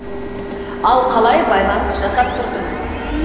ал қалай байланыс жасап тұрдыңыз